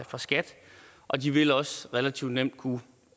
fra skat og de vil også relativt nemt kunne